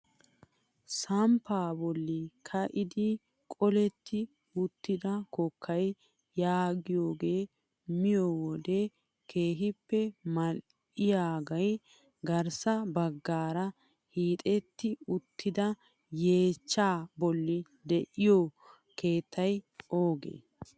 Samppaa bolli ka'idi qoletti uttida kokkaa yaagiyoogee miyoo wode keehippe mal"iyaagee garssa baggaara hiixetti uttida yeechchaa bolli de'iyoo keettay oogee?